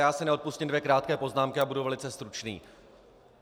Já si neodpustím dvě krátké poznámky a budu velice stručný.